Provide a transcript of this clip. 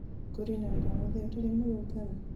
kũri na wĩra o wothe ũtarĩ mũrũngarũ